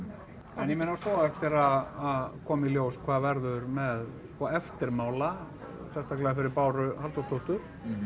en ég meina svo á eftir að koma í ljós hvað verður með eftirmála sérstaklega fyrir Báru Halldórsdóttur